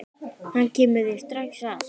Hann kemur þér strax að.